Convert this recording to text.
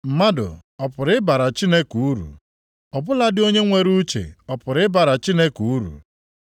“Mmadụ ọ pụrụ ịbara Chineke uru? Ọ bụladị onye nwere uche ọ pụrụ ịbara Chineke uru?